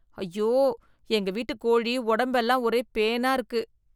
ஐயோ எங்க வீட்டு கோழி உடம்பெல்லாம் ஒரே பேனா இருக்கு.